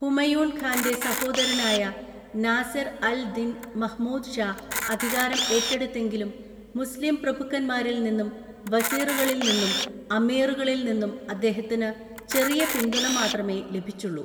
ഹുമായൂൺ ഖാന്റെ സഹോദരനായ നാസിർ അൽ ദിൻ മഹ്മൂദ് ഷാ അധികാരം ഏറ്റെടുത്തെങ്കിലും മുസ്ലിം പ്രഭുക്കന്മാരിൽ നിന്നും വസീറുകാളിൽ നിന്നും അമീറുകാളിൽ നിന്നും അദ്ദേഹത്തിന് ചെറിയ പിന്തുണ മാത്രമേ ലഭിച്ചുള്ളൂ.